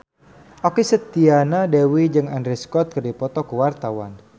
Okky Setiana Dewi jeung Andrew Scott keur dipoto ku wartawan